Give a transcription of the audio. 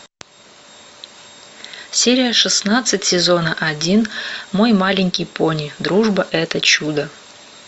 серия шестнадцать сезона один мой маленький пони дружба это чудо